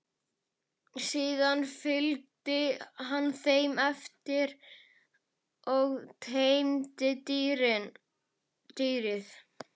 Síðan fylgdi hann þeim eftir og teymdi dýrið.